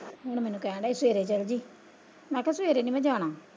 ਹੁਣ ਮੈਨੂੰ ਕਹਿਣ ਡੇਆ ਸੀ ਸਵੇਰੇ ਚੱਲਜੀ ਮੈਂ ਕਿਹਾ ਸਵੇਰੇ ਨਹੀਂ ਮੈਂ ਜਾਣਾ।